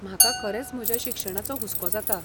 म्हाका खरेंच म्हज्या शिक्षणाचो हुस्को जाता.